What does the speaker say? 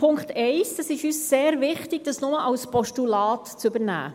Es ist uns sehr wichtig, den Punkt 1 nur als Postulat zu übernehmen.